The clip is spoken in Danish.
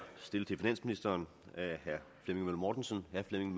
stillet til finansministeren af herre flemming møller mortensen